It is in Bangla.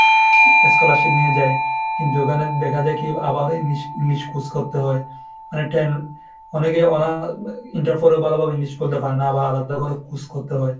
scholarship নিয়ে যায় কিন্তু ওখানে দেখা যায় কি আবার English English খুশ করতে হয় অনেকটা অনেকে অনা interpore এ ভালোভাবে English খুলতে পারে না আবার আলাদা করে খুশ করতে হয়।